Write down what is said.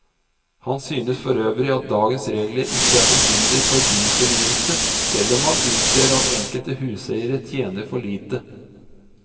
Han synes forøvrig at dagens regler ikke er til hinder for byfornyelse, selv om han innser at enkelte huseiere tjener for lite.